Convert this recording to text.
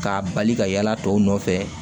K'a bali ka yaala tɔw nɔfɛ